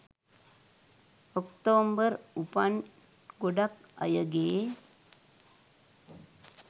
ඔක්තෝම්බර් උපන් ගොඩක් අයගේ